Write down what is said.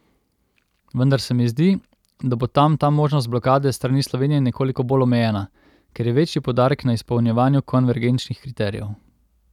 Vendar se mi zdi, da bo tam ta možnost blokade s strani Slovenije nekoliko bolj omejena, ker je večji poudarek na izpolnjevanju konvergenčnih kriterijev.